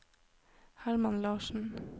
Herman Larsen